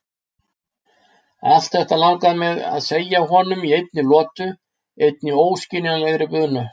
Allt þetta langaði mig að segja honum í einni lotu, einni óskiljanlegri bunu.